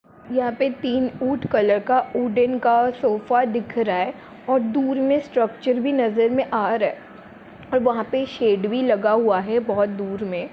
यहां पे तीन ऊठ कलर का उड़न का सोफा दिख रहा है और दूर में स्ट्रक्चर भी नजर में आ रहा है और वहां पे शेड भी लगा है बहुत दूर में।